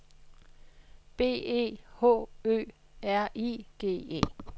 B E H Ø R I G E